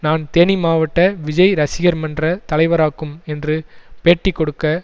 நான் தேனி மாவட்ட விஜய் ரசிகர் மன்ற தலைவராக்கும் என்று பேட்டி கொடுக்க